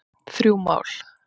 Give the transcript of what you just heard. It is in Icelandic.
Þrjú mál